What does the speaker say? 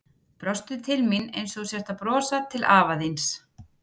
Brostu til mín einsog þú sért að brosa til afa þíns.